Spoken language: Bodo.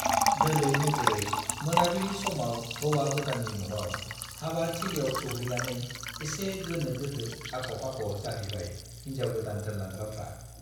दोलै नोगोरै मोनाबिलि समाव हौवा गोदाननि न'आव हाबा थिलियाव सौहैनानै एसे गोनो-गोथो, आख'-फाख' जाहैबाय हिन्जाव गोदान दोनलांग्राफ्रा।